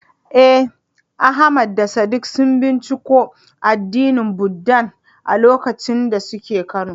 Eh, Ahmad da Sadiq sun binciko addinin Buddah a lokacin da suke Kano.